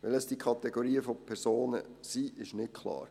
Welches diese Kategorien von Personen sind, ist nicht klar.